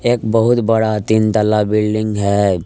एक बहुत बड़ा तीन तल्ला बिल्डिंग है।